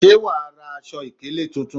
Ṣé wàá ra aṣọ ìkélé tuntun?